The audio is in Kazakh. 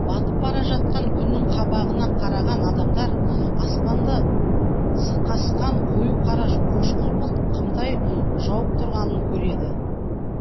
батып бара жатқан күннің қабағына қараған адамдар аспанды сықасқан қою қара қошқыл бұлт қымтай жауып тұрғанын көреді